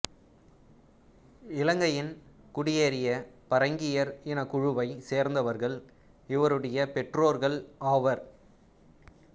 இலங்கையின் குடியேறிய பரங்கியர் இனக்குழுவைச் சேர்ந்தவர்கள் இவருடைய பெற்றோர்கள் ஆவர்